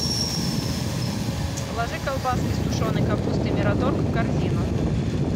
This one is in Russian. положи колбаски с тушеной капустой мираторг в корзину